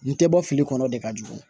N tɛ bɔ fili kɔnɔ o de ka jugu